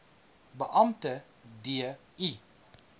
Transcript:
beampte d i